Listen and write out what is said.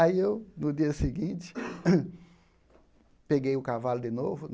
Aí eu, no dia seguinte, peguei o cavalo de novo.